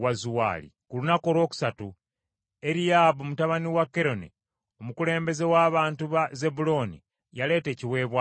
Ku lunaku olwokusatu Eriyaabu mutabani wa Keroni, omukulembeze w’abantu ba Zebbulooni, yaleeta ekiweebwayo kye.